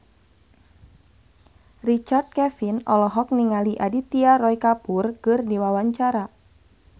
Richard Kevin olohok ningali Aditya Roy Kapoor keur diwawancara